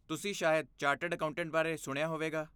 ਤੁਸੀਂ ਸ਼ਾਇਦ chartered accountant ਬਾਰੇ ਸੁਣਿਆ ਹੋਵੇਗਾ?